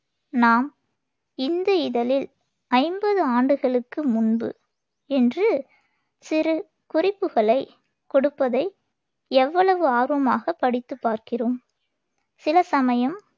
நாம் இந்து இதழில் ஐம்பது ஆண்டுகளுக்கு முன்பு என்று சிறு குறிப்புகளைக் கொடுப்பதை எவ்வளவு ஆர்வமாகப் படித்துப் பார்க்கிறோம் சில சமயம்